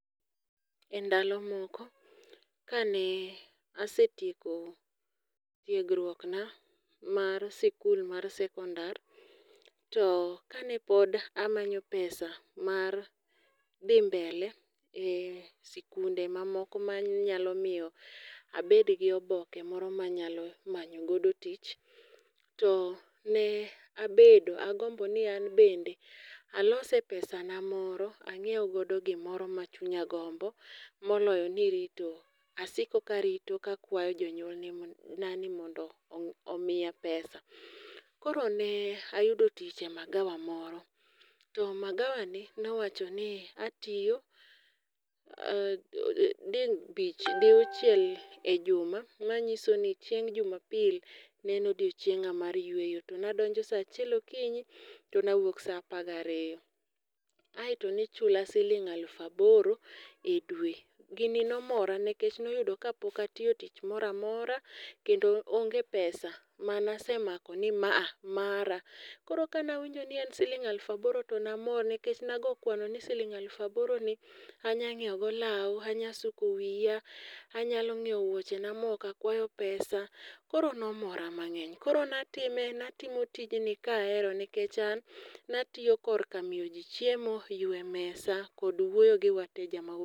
E ndalo moko kane asetieko tiegruok na mar sikul mar sekondar to kane pod amanyo pesa mar dhi mbele e sikunde mamoko manyalo miyo abed gi oboke moro manyalo manyo godo tich to ne abedo agombo ni an bende alose pesa na moro ang'iew godo gimoro ma chunya gombo moloyo nirito. Asiko karito kakwayo jonyuolna ni n ani mondo omiya pesa. Koro ne ayudo tich e magawa moro. To magawa ni nowacho ni atiyo dibich, diuchiel e juma manyiso ni chieng' jumapil ne en odiochieng'a mar yueyo. To nadonjo sa achiel okinyi to ne awuok sa apar gi ariyo. Aeto nichula siling aluf aboro e dwe. Gini nomora nikech noyudo ka pok atiyo tich moro amora kendo onge pesa manasemako ni ma a mara. Koro kane awinjo ni en siling aluf aboro to namor nikech nago kwano ni siling aluf aboro ni anya ng'iew go law, anya suko wiya. Anyalo ng'iew wuoche na ma ok akwayo pesa koro nomora mang'eny koro natime, natimo tijni kahero nikech an natiyo kor ka miyo ji chiemo, ywe mesa kod wuoyo gi wateja.